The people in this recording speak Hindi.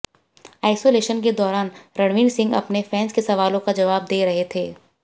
आइसोलेशन के दौरान रणवीर सिंह अपने फैन्स के सवालों का जवाब दे रहे थे